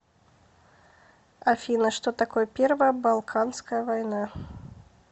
афина что такое первая балканская война